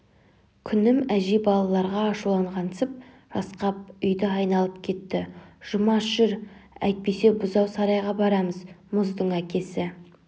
күнім әжей балаларға ашуланғансып жасқап үйді айналып кетті жұмаш жүр әйтпесе бұзау сарайға барамыз мұздың әкесі